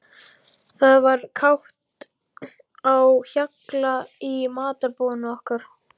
Það var kátt á hjalla í matarboðinu okkar.